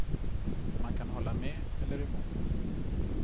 Man kan hålla med eller emot.